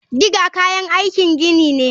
Digger kayan aikin gini ne.